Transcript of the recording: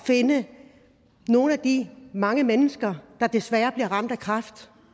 finde nogle af de mange mennesker der desværre bliver ramt af kræft